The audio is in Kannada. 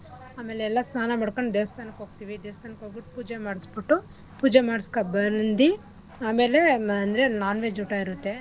ಆಮೇಲೆ ಎಲ್ಲಾ ಸ್ನಾನ ಮಾಡ್ಕೊಂಡು ದೇವಸ್ಥಾನಕ್ಕೆ ಹೋಗ್ತಿವಿ ದೇವಸ್ಥಾನಕ್ ಹೋಗಿ ಪೂಜೆ ಮಾಡ್ಸ್ಬುಟ್ಟು ಪೂಜೆ ಮಾಡಸ್ಕ ಬಂದಿ ಆಮೇಲೆ ಮ ಅಂದ್ರೆ non-veg ಊಟ ಇರತ್ತೆ.